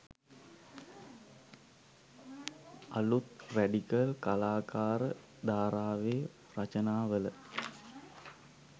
අලුත් රැඩිකල් කලාකාර ධාරාවේ රචනා වල